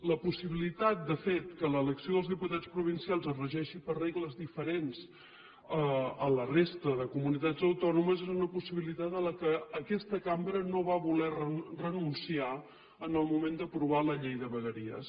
la possibilitat de fet que l’elecció dels diputats provincials es regeixi per regles diferents a la resta de comunitats autònomes és una possibilitat a la qual aquesta cambra no va voler renunciar en el moment d’aprovar la llei de vegueries